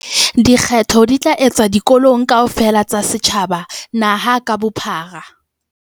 Dikgetho di tla etswa dikolong kaofela tsa setjhaba naha ka bophara.